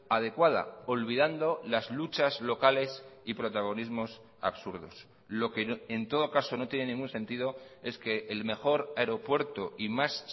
adecuada olvidando las luchas locales y protagonismos absurdos lo que en todo caso no tiene ningún sentido es que el mejor aeropuerto y más